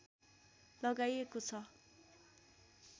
लगाइएको छ